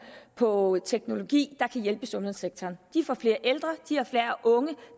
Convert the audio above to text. på teknologi der kan hjælpe sundhedssektoren de får flere ældre og de har færre unge